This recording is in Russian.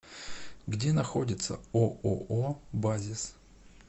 где находится ооо базис